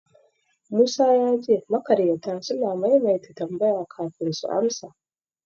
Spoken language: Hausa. Musa ya ce makaryata suna maimaita tambaya kafin su amsa.